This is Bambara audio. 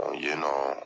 Ɔ yen nɔ